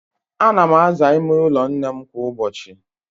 Ạna m aza ime ụlọ nnem kwa ụbọchị